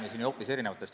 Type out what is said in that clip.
Mul on järgmine küsimus.